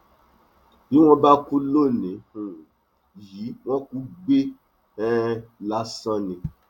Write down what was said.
bí wọn bá kú lónìí um yìí wọn kù gbé um lásán ni